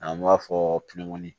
An b'a fɔ